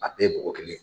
A bɛɛ ye bɔgɔ kelen ye